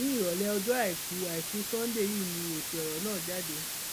ní ìrọlẹ ọjọ àìkú àìkú sánńdé yìí ni èsì ọrọ náà jáde